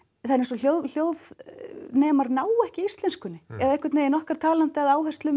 er eins og hljóðnemarnir nái ekki íslenskunni eða einhvern veginn okkar talanda eða áherslum